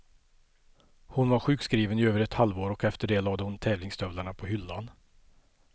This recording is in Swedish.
Hon var sjukskriven i över ett halvår och efter det lade hon tävlingsstövlarna på hyllan.